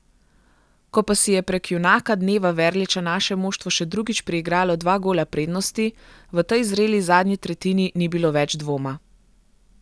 Ko pa si je prek junaka dneva Verliča naše moštvo še drugič priigralo dva gola prednosti, v tej zreli zadnji tretjini ni bilo več dvoma.